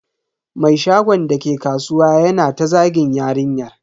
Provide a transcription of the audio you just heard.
Mai shagon dake kasuwa yana ta zagin yarinyar.